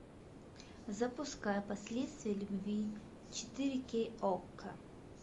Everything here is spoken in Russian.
запускай последствия любви четыре кей окко